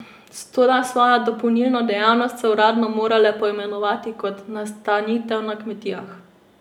Toda svojo dopolnilno dejavnost so uradno morale poimenovati kot nastanitev na kmetijah.